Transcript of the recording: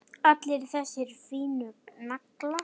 Allir þessir fínu naglar!